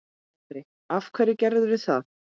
Andri: Af hverju gerirðu það?